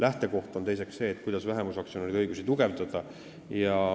Teiseks on lähtekoht see, kuidas neid vähemusaktsionäride õigusi tugevdada.